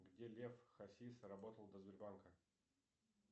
где лев хасис работал до сбербанка